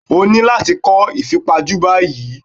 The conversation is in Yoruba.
O ní láti kọ́ ìfipajú báyìí.